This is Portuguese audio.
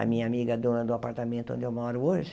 A minha amiga dona do apartamento onde eu moro hoje.